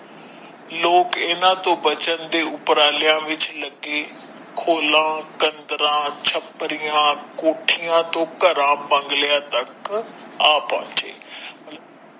ਲੋਕ ਇਹਨਾਂ ਤੋਂ ਬੱਚਣ ਦੇ ਉਪਰਾਲਿਆਂ ਵਿੱਚ ਲੱਗੇ ਖੋਲਾ ਛਪਰੀਆਂ ਕੋਠੀਆਂ ਤੋਂ ਘਰਾਂ ਬੰਗਲਿਆਂ ਤੱਕ ਆ ਪਹੁੰਚੇ।